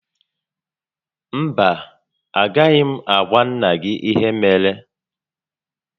Mba, a gaghị m agwa nnà gị ihe mere